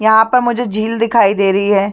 यहाँ पर मुझे झील दिखाई दे रही है।